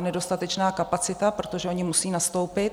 nedostatečná kapacita, protože ony musí nastoupit.